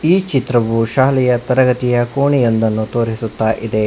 ಈ ಚಿತ್ರವು ಶಾಲೆಯ ತರಗತಿಯ ಕೋಣೆ ಒಂದನ್ನು ತೋರಿಸುತ್ತಾ ಇದೆ.